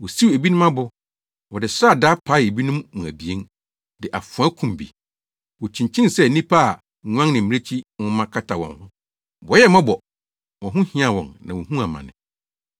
Wosiw ebinom abo. Wɔde sradaa paee ebinom mu abien, de afoa kum bi. Wokyinkyin sɛ nnipa a nguan ne mmirekyi nwoma kata wɔn ho. Wɔyɛɛ mmɔbɔ. Wɔn ho hiaa wɔn na wohuu amane.